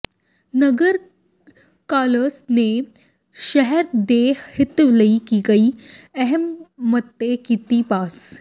ਨਗਰ council ਨੇ ਸ਼ਹਿਰ ਦੇ ਹਿੱਤ ਲਈ ਕਈ ਅਹਿਮ ਮਤੇ ਕੀਤੇ ਪਾਸ